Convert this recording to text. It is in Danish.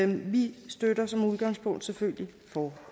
vi støtter som udgangspunkt selvfølgelig